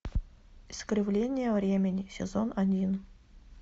искривление времени сезон один